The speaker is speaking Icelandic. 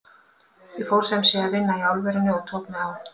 Ég fór sem sé að vinna í álverinu og tók mig á.